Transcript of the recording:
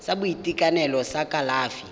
sa boitekanelo sa kalafi ya